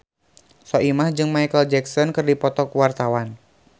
Soimah jeung Micheal Jackson keur dipoto ku wartawan